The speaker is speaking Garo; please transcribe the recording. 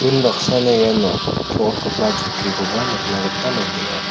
unbaksana iano to·opgipa chokkikoba nikna gita man·enga.